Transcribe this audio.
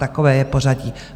Takové je pořadí.